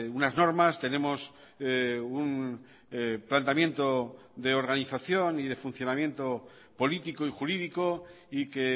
unas normas tenemos un planteamiento de organización y de funcionamiento político y jurídico y que